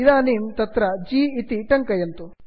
इदानीं तत्र g जि इति टङ्कयन्तु